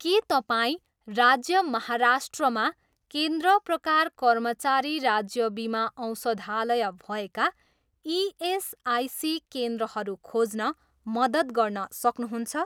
के तपाईँँ राज्य माहाराष्ट्रमा केन्द्र प्रकार कर्मचारी राज्य बिमा औषधालय भएका इएसआइसी केन्द्रहरू खोज्न मद्दत गर्न सक्नुहुन्छ?